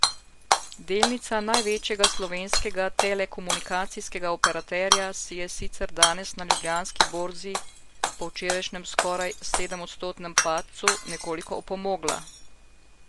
Delnica največjega slovenskega telekomunikacijskega operaterja si je sicer danes na Ljubljanski borzi, po včerajšnjem skoraj sedemodstotnem padcu, nekoliko opomogla.